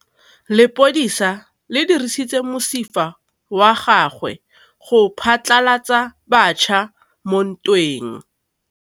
Lepodisa le dirisitse mosifa wa gagwe go phatlalatsa batšha mo ntweng.